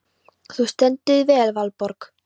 Þú stendur þig vel, Valborg!